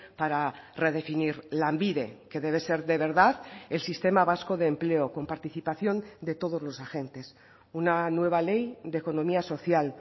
para redefinir lanbide que debe ser de verdad el sistema vasco de empleo con participación de todos los agentes una nueva ley de economía social